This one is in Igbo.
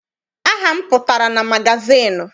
Aha m pụtara na magazịịnụ.